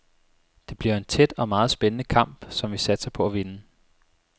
Det bliver en tæt og meget spændende kamp, som vi satser på at vinde.